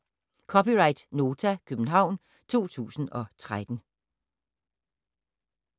(c) Nota, København 2013